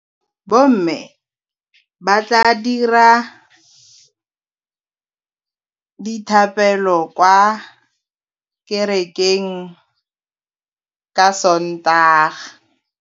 Bommê ba tla dira dithapêlô kwa kerekeng ka Sontaga.